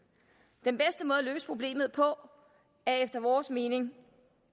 den at løse problemet på er efter vores mening